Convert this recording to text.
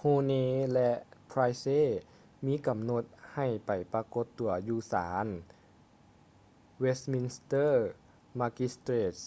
huhne ແລະ pryce ມີກຳນົດໃຫ້ໄປປາກົດຕົວຢູ່ສານ westminster magistrates